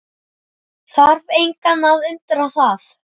Þarf engan að undra það.